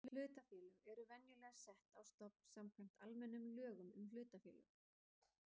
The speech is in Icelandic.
Hlutafélög eru venjulega sett á stofn samkvæmt almennum lögum um hlutafélög.